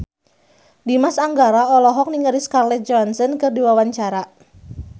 Dimas Anggara olohok ningali Scarlett Johansson keur diwawancara